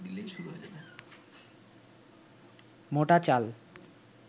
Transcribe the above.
মোটা চাল